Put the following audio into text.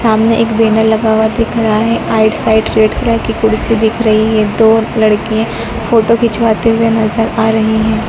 सामने एक बैनर लगा हुआ दिख रहा है साइड रेड कलर की कुर्सी दिख रही है दो लड़कियां फोटो खिंचवाते हुए नजर आ रही हैं।